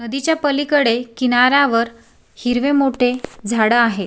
नदीच्या पलीकडे किनाऱ्यावर हिरवे मोठे झाडं आहेत.